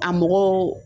A mɔgɔw